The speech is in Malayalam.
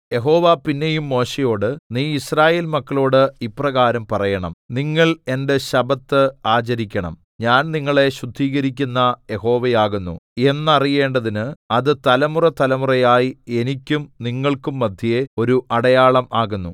യഹോവ പിന്നെയും മോശെയോട് നീ യിസ്രായേൽ മക്കളോട് ഇപ്രകാരം പറയണം നിങ്ങൾ എന്റെ ശബ്ബത്ത് ആചരിക്കണം ഞാൻ നിങ്ങളെ ശുദ്ധീകരിക്കുന്ന യഹോവയാകുന്നു എന്നറിയേണ്ടതിന് അത് തലമുറതലമുറയായി എനിക്കും നിങ്ങൾക്കും മദ്ധ്യേ ഒരു അടയാളം ആകുന്നു